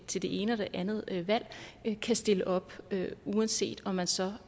til det ene og det andet valg kan stille op uanset om man så